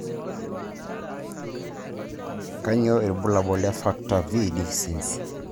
Kanyio ibulabul le factor V deficiency.